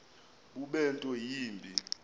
bube nto yimbi